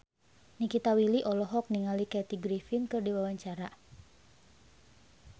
Nikita Willy olohok ningali Kathy Griffin keur diwawancara